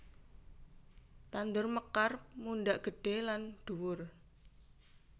Tandur mekar mundhak gedhe lan dhuwur